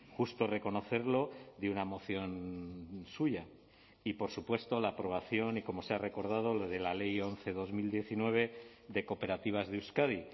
justo reconocerlo de una moción suya y por supuesto la aprobación y como se ha recordado de la ley once barra dos mil diecinueve de cooperativas de euskadi